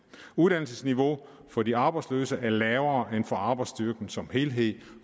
uddannelsesniveauet for de arbejdsløse er lavere end for arbejdsstyrken som helhed